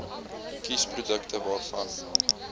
kies produkte waarvan